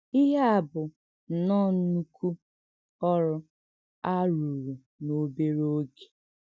Íhè à bụ̀ nnọọ̀ ńnụ́kù òrụ́ a rùrù n’òbèrè ògè!”